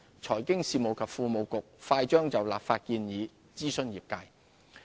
財經事務及庫務局快將就立法建議諮詢業界。